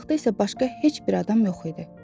Yaxınlıqda isə başqa heç bir adam yox idi.